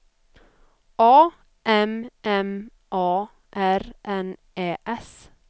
A M M A R N Ä S